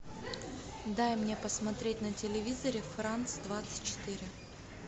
дай мне посмотреть на телевизоре франс двадцать четыре